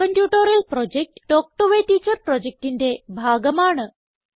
spoken tutorial project talk to a teacher പ്രൊജക്റ്റിന്റെ ഭാഗമാണ്